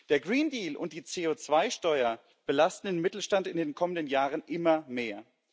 Der Green Deal und die CO2-Steuer belasten den Mittelstand in den kommenden Jahren immer mehr.